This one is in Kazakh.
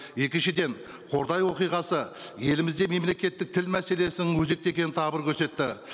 екіншіден қордай оқиғасы елімізде мемлекеттік тіл мәселесін өзекті екенін тағы бір көрсетті